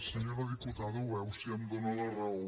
senyora diputada ho veu si em dóna la raó